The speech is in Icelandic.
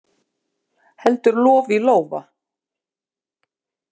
Heldur lof í lófa.